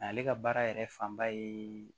Ale ka baara yɛrɛ fanba ye